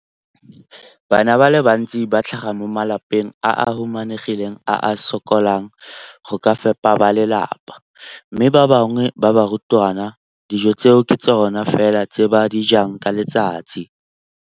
Bana ba le bantsi ba tlhaga mo malapeng a a humanegileng a a sokolang go ka fepa ba lelapa mme ba bangwe ba barutwana, dijo tseo ke tsona fela tse ba di jang ka letsatsi.